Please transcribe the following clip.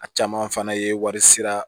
A caman fana ye wari sara